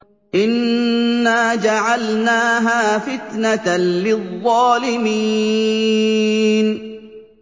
إِنَّا جَعَلْنَاهَا فِتْنَةً لِّلظَّالِمِينَ